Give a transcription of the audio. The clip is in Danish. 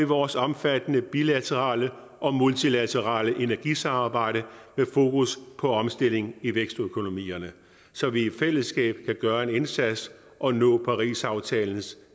vores omfattende bilaterale og multilaterale energisamarbejde med fokus på omstilling i vækstøkonomierne så vi i fællesskab kan gøre en indsats og nå parisaftalens